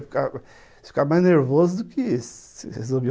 Você ia ficar mais nervoso do que